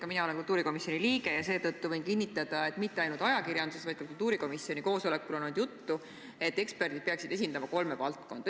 Ka mina olen kultuurikomisjoni liige ja seetõttu võin kinnitada, et mitte ainult ajakirjanduses, vaid ka kultuurikomisjoni koosolekul on olnud juttu, et eksperdid peaksid esindama kolme valdkonda.